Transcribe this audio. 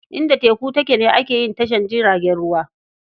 Inda teku take ne ake yin tashar jiragen ruwa.